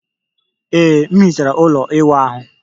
Ee, m hichere ụlọ ịwụ ahu